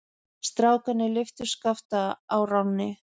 Strákarnir lyftu Skapta á ránni.